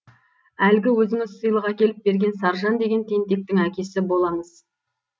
әлгі өзіңіз сыйлық әкеліп берген саржан деген тентектің әкесі боламыз